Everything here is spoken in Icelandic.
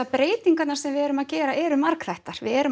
breytingarnar sem við erum að gera eru margþættar við erum